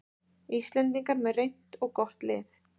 Íslendingar með reynt og gott lið